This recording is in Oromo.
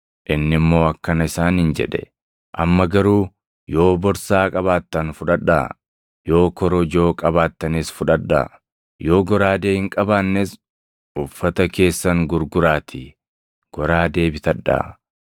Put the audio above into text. Inni immoo akkana isaaniin jedhe; “Amma garuu yoo borsaa qabaattan fudhadhaa; yoo korojoo qabaattanis fudhadhaa; yoo goraadee hin qabaannes uffata keessan gurguraatii goraadee bitadhaa.